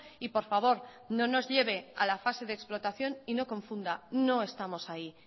y por favor no nos lleve a la fase de explotación y no confunda no estamos ahí